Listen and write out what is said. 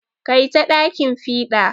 Kai ta ɗakin fiɗa.